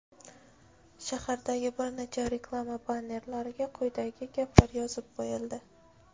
shahardagi bir nechta reklama bannerlariga quyidagi gaplar yozib qo‘yildi:.